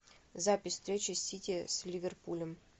запись встречи сити с ливерпулем